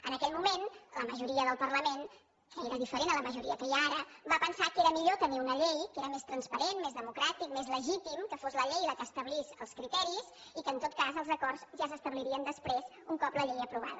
en aquell moment la majoria del parlament que era diferent a la majoria que hi ha ara va pensar que era millor tenir una llei que era més transparent més democràtic més legítim que fos la llei la que establís els criteris i que en tot cas els acords ja s’establirien després un cop la llei aprovada